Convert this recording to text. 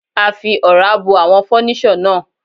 A fi Ọ̀rá bo àwọn fọ́níṣọ̀ náà.